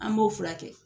An b'o furakɛ